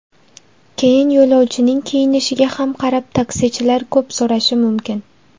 Keyin yo‘lovchining kiyinishiga ham qarab taksichilar ko‘p so‘rashi mumkin.